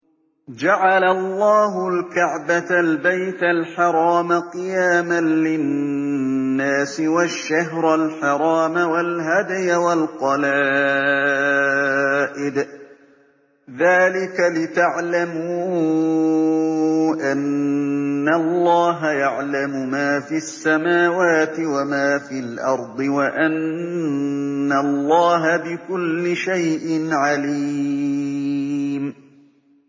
۞ جَعَلَ اللَّهُ الْكَعْبَةَ الْبَيْتَ الْحَرَامَ قِيَامًا لِّلنَّاسِ وَالشَّهْرَ الْحَرَامَ وَالْهَدْيَ وَالْقَلَائِدَ ۚ ذَٰلِكَ لِتَعْلَمُوا أَنَّ اللَّهَ يَعْلَمُ مَا فِي السَّمَاوَاتِ وَمَا فِي الْأَرْضِ وَأَنَّ اللَّهَ بِكُلِّ شَيْءٍ عَلِيمٌ